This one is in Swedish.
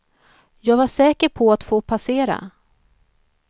Jag var säker på att få passera.